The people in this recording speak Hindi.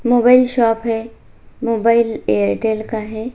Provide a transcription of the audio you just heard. मोबाइल शॉप है मोबाइल एयरटेल का है।